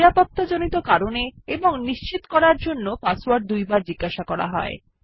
নিরাপত্তাজড়িত কারণে এবং নিশ্চিত করার জন্য পাসওয়ার্ড দুবার জিজ্ঞাসা করা হয়